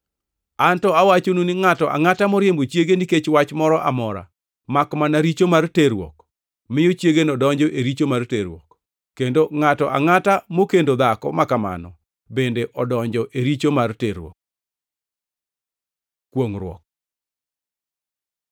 An to awachonu ni ngʼato angʼata moriembo chiege nikech wach moro amora makmana richo mar terruok, miyo chiegeno donjo e richo mar terruok, kendo ngʼato angʼata mokendo dhako makamano bende donjo e richo mar terruok. Kwongʼruok